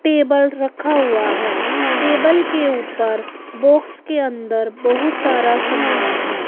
Table रखा हुआ है टेबल के ऊपर बॉक्स के अंदर बहुत सारा सामान है।